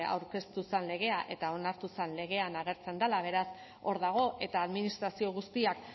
aurkeztu zen legea eta onartu zen legean agertzen dela beraz hor dago eta administrazio guztiak